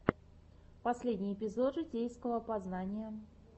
последний эпизод житейского познания